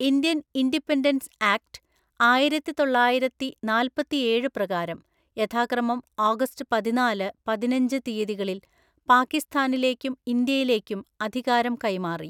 Indian independence act ആയിരത്തിതൊള്ളായിരത്തിനാല്‍പ്പത്തിഏഴ് പ്രകാരം യഥാക്രമം ഓഗസ്റ്റ് പതിനാലു, പതിനഞ്ചു തീയതികളിൽ പാക്കിസ്ഥാനിലേക്കും ഇന്ത്യയിലേക്കും അധികാരം കൈമാറി.